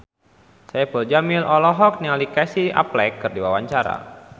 Saipul Jamil olohok ningali Casey Affleck keur diwawancara